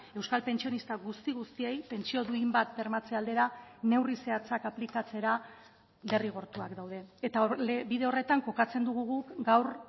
euskal pentsionista guzti guztiei pentsio duin bat bermatze aldera neurri zehatzak aplikatzera derrigortuak daude eta bide horretan kokatzen dugu guk gaur